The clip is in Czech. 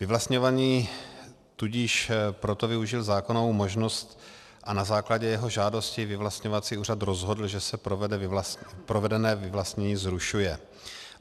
Vyvlastňovaný tudíž proto využil zákonnou možnost a na základě jeho žádosti vyvlastňovací úřad rozhodl, že se provedené vyvlastnění zrušuje.